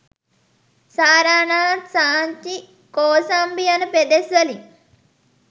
සාරානාත්, සාංචි, කෝසම්බි යන පෙදෙස් වලින්